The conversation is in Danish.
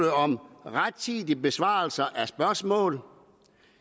om rettidig besvarelse af spørgsmål